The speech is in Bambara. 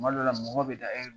Tuma dɔw la mɔgɔ bɛ da